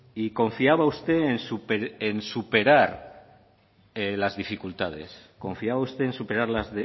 y confiaba usted en superar las